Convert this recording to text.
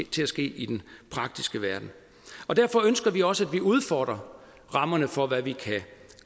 til at ske i den praktiske verden derfor ønsker vi også at vi udfordrer rammerne for hvad vi kan